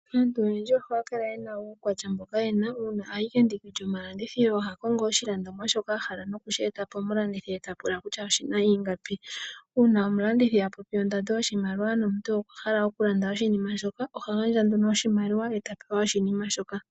Aantu oyendji ohaya kala yena uukwatya mboka yena . Uuna ayi kendiki lyomalandithilo oha kongo oshi landomwa shoka ahala nokushi eta pomu landithi eta pula kutya oshina ingapi . Uuna omulandithi apopi ondando yoshimaliwa nomuntu okwahala oku landa oshinima shoka ohagandja nduno oshimaliwa eta pewa oshinima shoka.